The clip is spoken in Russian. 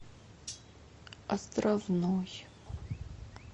островной